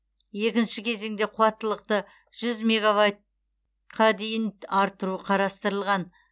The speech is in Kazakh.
екінші кезеңде қуаттылықты жүз мегавайтқа дейін арттыру қарастырылған